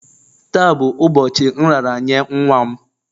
Taa bụ ụbọchị nraranye nwa m